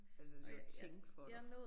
Altså den skal jo tænke for dig